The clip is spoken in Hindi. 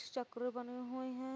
चक्र बने हुऐ हैं।